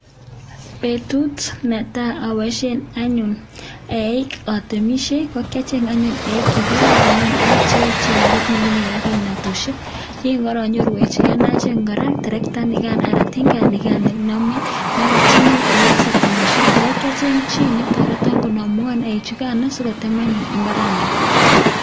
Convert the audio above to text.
Betut neta abaishyen anyun eeik atemishye, kokyacheng anyun eeik chekararanen oot cheechen ako tinye kimnatoshyek. Iin kanyoru terektaniga ne name ne aratchini eeik si atemshye. Kora kiacheng'e chii netaretan kunamuan eeik chugan sikotem anyun imbara nigan.